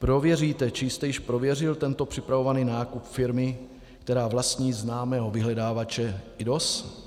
Prověříte, či jste již prověřil tento připravovaný nákup firmy, která vlastní známého vyhledávače IDOS?